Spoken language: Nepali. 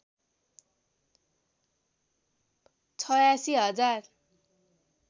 ८६ हजार